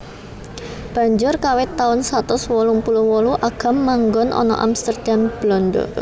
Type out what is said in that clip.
Banjur kawit taun satus wolung puluh wolu Agam manggon ana Amsterdam Belanda